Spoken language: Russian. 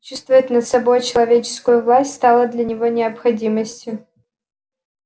чувствовать над собой человеческую власть стало для него необходимостью